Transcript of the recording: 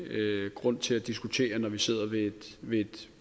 grunde til at diskutere det når vi sidder ved et